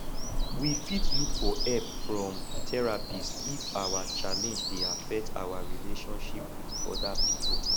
we fit look for help from therapist if our challenge dey affect our relationship with oda pipo